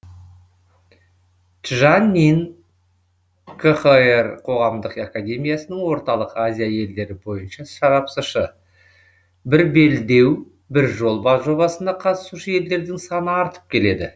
чжан нин қхр қоғамдық академиясының орталық азия елдері бойынша сарапшысы бір белдеу бір жол жобасына қатысушы елдердің саны артып келеді